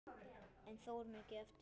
En þó er mikið eftir.